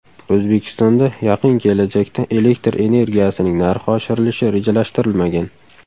O‘zbekistonda yaqin kelajakda elektr energiyasining narxi oshirilishi rejalashtirilmagan.